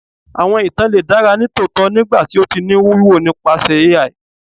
Awọn itan le dara nitootọ nigbati o ti ni wiwo nipasẹ ai